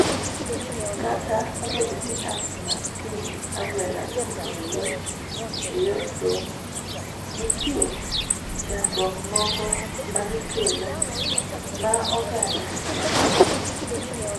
Kata obedo ni apps mag simb agwelaosekelo yot eyor somo, nitie chandruok moko magikelo ma oganda nyaka rang.